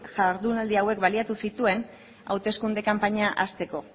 jardunaldi hauek baliatu zituen hauteskunde kanpaina hasteko